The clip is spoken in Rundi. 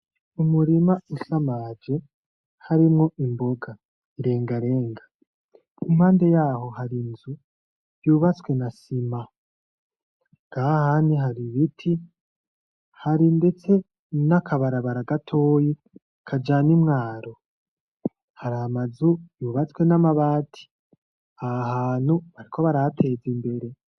Umurima usamaje harimwo imboga irengarenga, impande yaho harinzu yubatswe na sima nahahandi haribiti, hari ndetse nakabarabara gatoyi kajana imwaro, haramazu yubatswe namabati, ahahantu bariko barahateza imbere.